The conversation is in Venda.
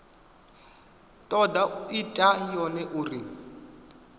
toda u ita yone uri